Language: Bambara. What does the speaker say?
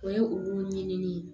O ye olu ɲinini ye